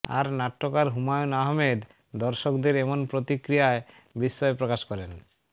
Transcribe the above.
আর নাট্যকার হুমায়ূন আহমেদ দর্শকদের এমন প্রতিক্রিয়ায় বিস্ময় প্রকাশ করেন